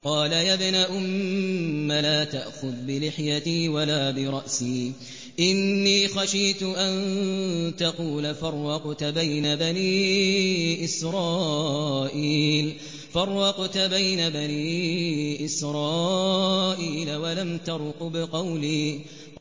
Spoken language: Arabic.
قَالَ يَا ابْنَ أُمَّ لَا تَأْخُذْ بِلِحْيَتِي وَلَا بِرَأْسِي ۖ إِنِّي خَشِيتُ أَن تَقُولَ فَرَّقْتَ بَيْنَ بَنِي إِسْرَائِيلَ وَلَمْ تَرْقُبْ قَوْلِي